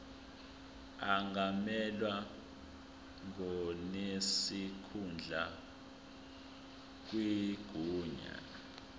angamelwa ngonesikhundla kwinyunyane